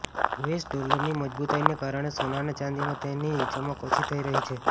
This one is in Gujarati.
યુએસ ડોલરની મજબૂતાઈને કારણે સોના અને ચાંદીમાં તેની ચમક ઓછી થઈ રહી છે